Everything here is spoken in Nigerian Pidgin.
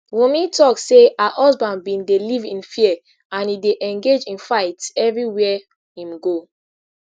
wunmi tok say her husband bin dey live in fear and e dey engage in fights evri where im go